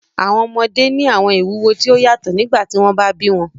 Àwọn ọmọde ni àwọn ìwuwo ti o yatọ nigbati wọn ba bi wọn